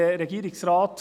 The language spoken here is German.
Alt Regierungsrat